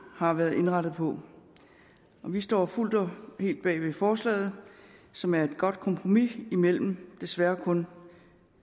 har været indrettet på vi står fuldt og helt bag ved forslaget som er et godt kompromis mellem desværre kun